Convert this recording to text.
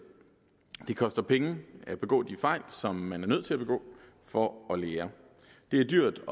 det koster penge at begå de fejl som man er nødt til at begå for at lære det er dyrt